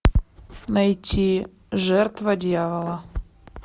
найти жертва дьявола